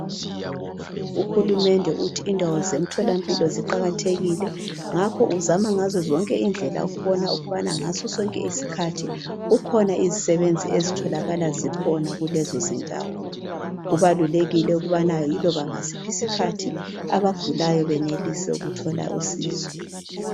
Uhulumende uthi indawo zemtholampilo ziqakathekile. Ngakho uzama ngazo zonke indlela ukubona ukubana ngasosonke isikhathi kukhona izisebenzi ezitholakala zikhona kulezo izindawo. Kubalulekile ukubana iloba ngasiphi isikhathi abagulayo benelise ukuthola usizo.